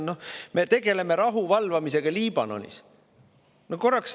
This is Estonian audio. Me tegeleme rahuvalvamisega Liibanonis!